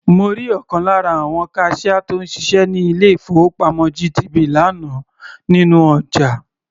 Mo rí ọ̀kan lára àwon kaṣíá tó ń ṣiṣẹ́ ní ilé-ìfowópamọ́ GTB lánàá nínú ọjà.